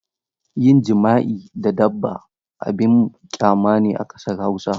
Yin jima'i da dabba abin ƙyama ne a ƙasar Hausa.